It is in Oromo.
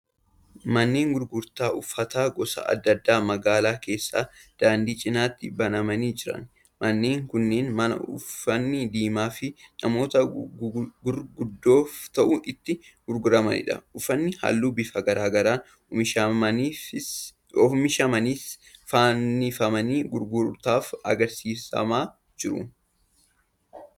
Manneen gurgurtaa uffata gosa adda addaa magaalaa keessaa daandii cinaatti banamanii jiran. Manneen kunneen mana uffanni daa'immanii fi namoota gurguddoof ta'u itti gurguramanidha. Uffanni halluu bifa garaa garaan oomishamanis fannifamanii gurgurtaaf agarsiifamaa jiru.